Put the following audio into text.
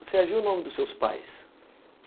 Você agiu no nome dos seus pais?